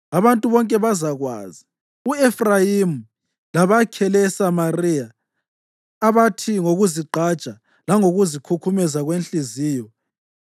Abantu bonke bazakwazi u-Efrayimi labakhele eSamariya, abathi ngokuzigqaja langokuzikhukhumeza kwenhliziyo,